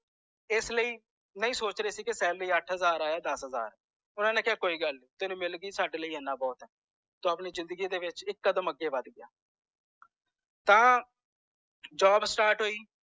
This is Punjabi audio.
ਇਸ ਲਇ ਨਹੀਂ ਸੋਚ ਰਹੇ ਸੀ ਕੀ salary ਅੱਠ ਹਜ਼ਾਰ ਆਏ ਯਾ ਦਸ ਹਜ਼ਾਰ ਓਹਨਾ ਨੇ ਕੋਈ ਗੱਲ ਨੀ ਤੈਨੂੰ ਮਿਲ ਗੀ ਸਾਡੇ ਲਯੀ ਇਹਨਾਂ ਬੋਹੋਤ ਏ ਤੂੰ ਆਪਣੀ ਜ਼ਿੰਦਗੀ ਦੇ ਵਿਚ ਇਕ ਕਦਮ ਅੱਗੇ ਵੱਧ ਗਿਆ ਤਾਂ job start ਹੋਇ